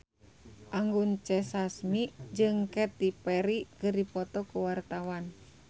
Anggun C. Sasmi jeung Katy Perry keur dipoto ku wartawan